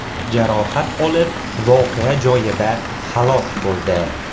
jarohat olib voqea joyida halok bo‘ldi.